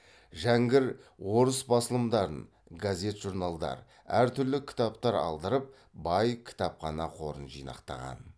жәңгір орыс басылымдарын газет журналдар әртүрлі кітаптар алдырып бай кітапхана қорын жинақтаған